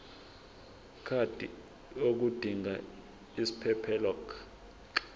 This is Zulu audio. card yodinga isiphephelok